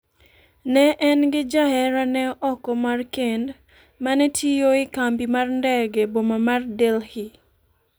ne en gi jaherane oko mar kend ma ne tiyo e kambi mar ndege e boma mar Delhi.